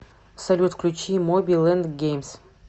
салют включи моби лэнд геймс